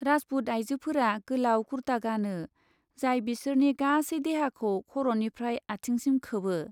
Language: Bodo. राजपुत आयजोफोरा गोलाव कुर्ता गानो जाय बिसोरनि गासै देहाखौ खर'निफ्राय आथिंसिम खोबो।